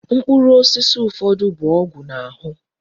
Mkpụrụ osisi ụfọdụ bụ ọgwụ na-ahụ.